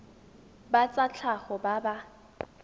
ba tsa tlhago ba ba